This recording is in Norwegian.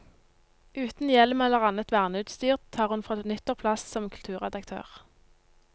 Uten hjelm eller annet verneutstyr tar hun fra nyttår plass som kulturredaktør.